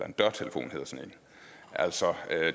en dørtelefon altså